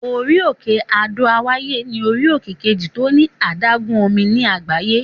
Orí-òkè Adó-àwáyè ní orí-òkè kejì tó ní adágún omi ní àgbáyé.